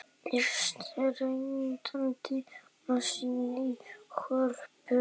Er stressandi að syngja í Hörpu?